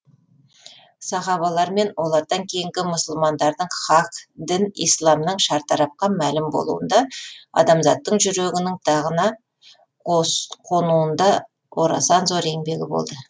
сахабалар мен олардан кейінгі мұсылмандардың хақ дін исламның шартарапқа мәлім болуында адамзаттың жүрегінің тағына қонуында орасан зор еңбегі болды